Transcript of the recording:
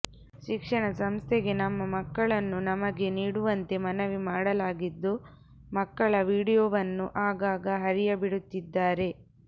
ಶಿಕ್ಷಣ ಸಂಸ್ಥೆಗೆ ನಮ್ಮ ಮಕ್ಕಳನ್ನು ನಮಗೆ ನೀಡುವಂತೆ ಮನವಿ ಮಾಡಲಾಗಿದ್ದು ಮಕ್ಕಳ ವಿಡಿಯೋವನ್ನು ಆಗಾಗ ಹರಿಯಬಿಡುತ್ತಿದ್ದಾರೆ